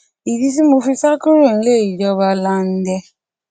ìdí tí mo fi sá kúrò nílé ìjọba lande